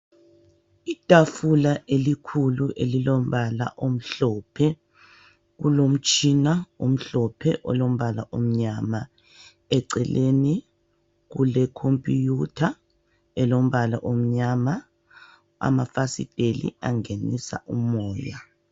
Itafula elikhulu elilombala omhlophe. Kulomtshina omhlophe olombala omnyama eceleni kulekhompiyutha elombala omnyama amafasiteli angenisa umoya.